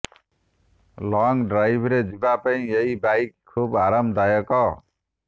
long ଡ୍ରାଇଭ୍ରେ ଯିବା ପାଇଁ ଏହି ବାଇକ୍ ଖୁବ୍ ଆରାମଦାୟକ